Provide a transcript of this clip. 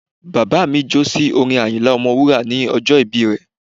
Bàbá mi jó sí orin Àyìnlá Ọmọ wúrà ní ọjọ́ ìbí rẹ̀